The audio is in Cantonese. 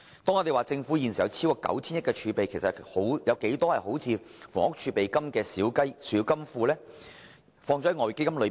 當我們說政府有超過 9,000 億元儲備時，其實還有多少個像房屋儲備金般的小金庫存放於外匯基金呢？